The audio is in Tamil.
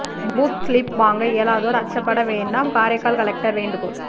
பூத் சிலிப் வாங்க இயலாதோர் அச்சப்பட வேண்டாம் காரைக்கால் கலெக்டர் வேண்டுகோள்